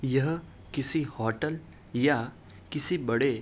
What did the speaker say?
यह किसी होटल या किसी बड़े --